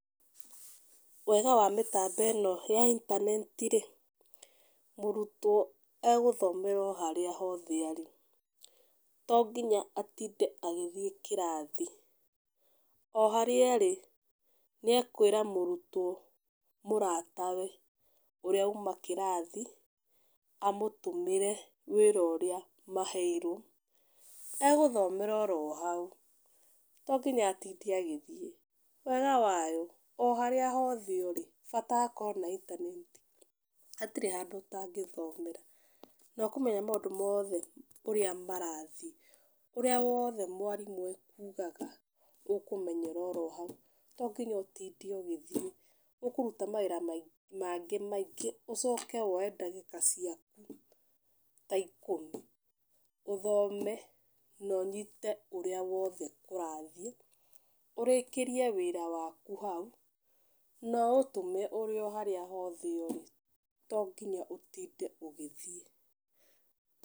Wega wa mĩtambo ĩno ya intaneti rĩ, mũrutwo agũthomera o haria arĩ, to nginya atinde agĩthiĩ kĩrathi o harĩa arĩ, nĩ ekwĩra mũrutwo mũratawe ũrĩa uma kĩrathi amũtũmĩre wĩra ũrĩa maheirwo, agũthomera oro hau, tonginya atinde agĩthiĩ, wega wayo bata akorwo intaneti gũtirĩ handũ ũtangĩthomera na ũkũmenya maũndũ mothe ũria marathiĩ, ũrĩa wothe mwarimũ akugaga ũkũmenyera o hau, tonginya ũtinde ũgĩthiĩ ũkũruta mawĩra mangĩ maingĩ ũcoke ũke woe ndagĩka ciaku ta ikũmi ũthome ma ũnyite ũrĩa wothe kũrathiĩ ũrĩkĩrie wĩra waku hau na ũtũme ũrĩ o harĩa hothe ũrĩ, tonginya ũtinde ũgĩthiĩ.